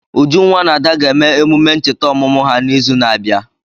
Ujunwa na Ada ga-eme emume ncheta ọmụmụ ha n'izu na-abịa.